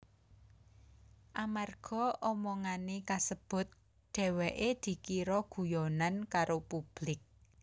Amarga omongané kasebut dheweké dikira guyonan karo publik